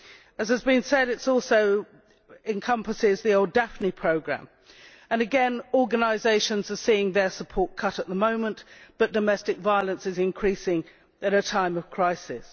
As has been said, this also encompasses the old Daphne programme and again organisations are seeing their support cut at the moment but domestic violence is increasing at a time of crisis.